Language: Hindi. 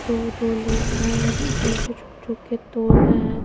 जो दो लोग है पीछे झुक झुक के तोड़ रहे है।